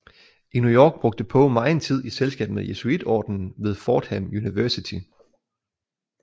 I New York brugte Poe megen tid i selskab med Jesuiterordenen ved Fordham University